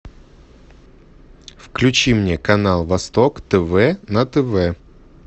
включи мне канал восток тв на тв